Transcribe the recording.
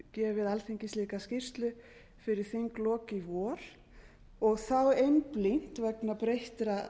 gefið alþingi slíka skýrslu fyrir þinglok í vor og einblína vegna breyttra